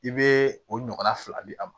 I bɛ o ɲɔgɔnna fila di a ma